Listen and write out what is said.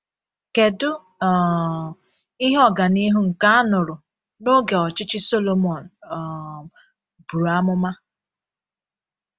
Kedu um ihe ọganihu nke a nụrụ n’oge ọchịchị Sọlọmọn um buru amụma?